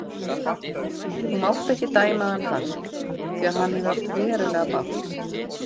Þú mátt ekki dæma hann hart því að hann hefur átt verulega bágt.